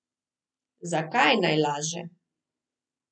Zakaj najlaže?